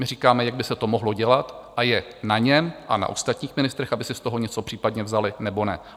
My říkáme, jak by se to mohlo dělat, a je na něm a na ostatních ministrech, aby si z toho něco případně vzali, nebo ne.